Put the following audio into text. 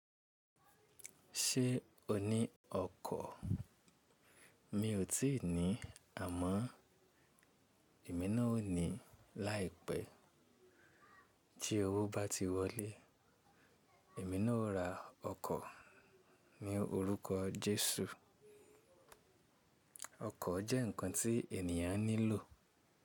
Ṣé o ní ọkọ̀? Mi ò tíì ní, àmọ́ èmi náà ó ní láìpẹ́. Tí owó bá ti wọlé, èmi náà ó ra ọkọ̀ ní orúkọ Jésù. Ọkọ̀ jẹ́ ǹkan tí ènìyàn nílò.